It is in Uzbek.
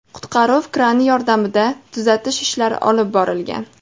Qutqaruv krani yordamida tuzatish ishlari olib borilgan.